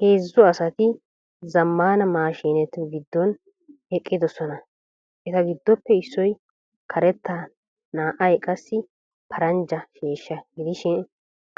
Heezzu asati zammaana maashinetu giddon eqqidosona. Eta giddoppe issoy karetta naa"ay qassi paranjja sheeshsha gidishin